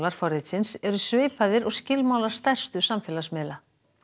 forritsins eru svipaðir og skilmálar stærstu samfélagsmiðla